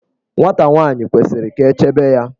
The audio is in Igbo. Nwata nwaanyi kwesiri ka echebe ya.